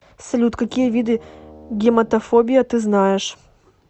салют какие виды гематофобия ты знаешь